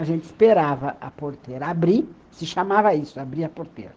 A gente esperava a porteira abrir, se chamava isso, abrir a porteira.